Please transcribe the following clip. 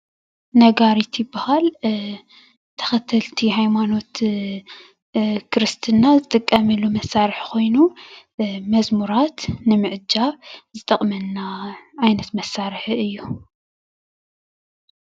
ነጋሪት ይበሃል፡፡ ተኸተልቲ ሃይማኖት ክርስትና ዝጥቀሙሉ መሳርሒ ኮይኑ መዝሙራት ንምዕጃብ ዝጠቕመና ዓይነት መሳርሒ እዩ፡፡